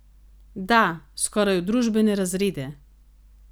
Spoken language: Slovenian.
Da, skoraj v družbene razrede!